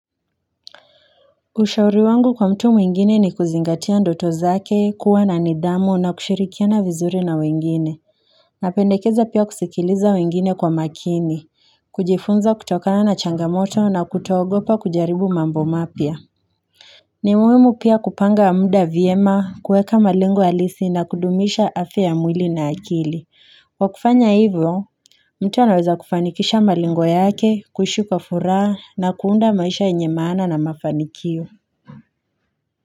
Ushauri wangu kwa mtu mwingine ni kuzingatia ndoto zake kuwa na nithamu na kushirikiana vizuri na wengine Napendekeza pia kusikiliza wengine kwa makini, kujifunza kutokana na changamoto na kutogopa kujaribu mambo mapya ni muhimu pia kupanga wa muda viema, kueka malengo halisi na kudumisha afya mwili na akili wakufanya hivyo mtu anaweza kufanikisha malengo yake, kuishi kwa furaha na kuunda maisha yenye maana na mafanikio.